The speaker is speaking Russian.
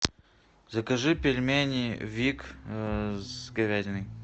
закажи пельмени вик с говядиной